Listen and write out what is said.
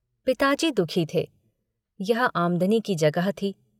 पिताजी दुखी थे। यह आमदनी की जगह थी।